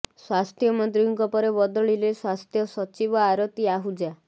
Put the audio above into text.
ସ୍ୱାସ୍ଥ୍ୟ ମନ୍ତ୍ରୀଙ୍କ ପରେ ବଦଳିଲେ ସ୍ୱାସ୍ଥ୍ୟ ସଚିବ ଆରତି ଆହୁଜା